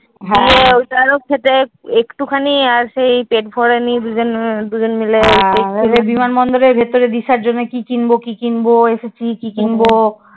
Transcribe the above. ঐটার ও খেতে একটুখানি আছে পেট ভরেনি দুজন দুজন মিলে বিমান বন্দরের ভিতরে রিশাদ জন্য কি কিনবো? কি কিনবো? এসব কি কি কিনবো?